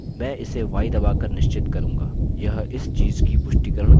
यह इस चीज़ की पुष्टिकरण के लिए था कि सारी सूचनाएँ सही है